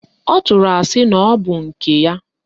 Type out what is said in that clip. Ọ tụrụ asị na ọbụ nke ya